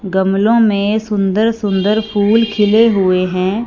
गमलों में सुंदर सुंदर फूल खिले हुए हैं।